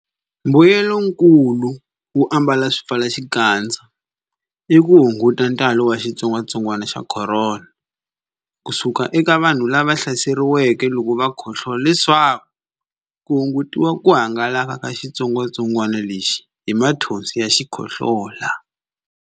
Mbuyelonkulu wo ambala swipfalaxikandza i ku hunguta ntalo wa xitsongwantsongwana xa Khorona COVID-19 ku suka eka vanhu lava hlaseriweke loko va khohlola leswaku ku hungutiwa ku hangalaka ka xitsongwantsongwana lexi hi mathonsi ya xikhohlola.